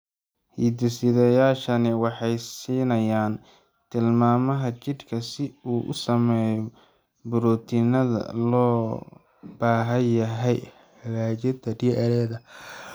Hidde-sidayaashani waxay siinayaan tilmaamaha jidhka si uu u sameeyo borotiinada loo baahan yahay hagaajinta DNA-da.